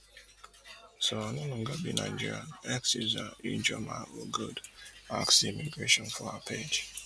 so i no longer be nigerian x user ijeomaogood ask di immigration for her page